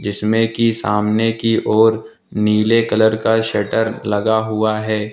इसमें की सामने की ओर नीले कलर का शटर लगा हुआ है।